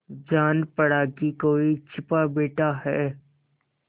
जान पड़ा कि कोई छिपा बैठा है